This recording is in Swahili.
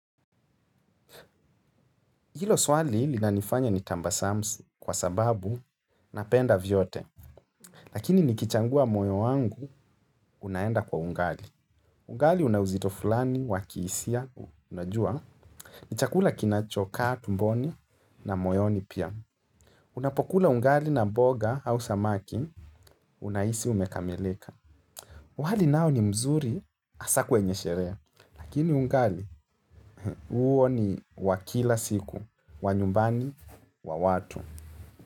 Hilo swali lina nifanya nitambasamsu kwa sababu napenda vyote. Lakini nikichangua moyo wangu, unaenda kwa ungali. Ungali unauzito fulani, wakihisia, unajua. Ni chakula kinachokaa, tumboni na moyoni pia. Unapokula ungali na boga au samaki, unahisi umekamilika. Wali nao ni mzuri, asa kwenye sherehe. Lakini ungali, huo ni wa kila siku, wa nyumbani, wa watu.